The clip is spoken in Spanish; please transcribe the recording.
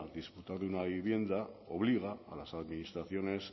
disfrutar de una vivienda obliga a las administraciones